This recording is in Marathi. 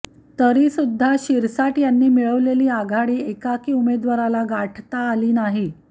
तरीसुद्धा शिरसाट यांनी मिळवलेली आघाडी एकाही उमेदवाराला गाठता आली नाही